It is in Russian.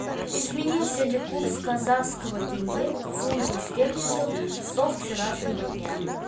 изменился ли курс казахского тенге к фунту стерлингов со вчерашнего дня